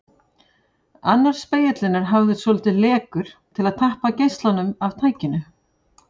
Annar spegillinn er hafður svolítið lekur til að tappa geislanum af tækinu.